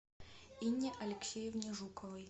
инне алексеевне жуковой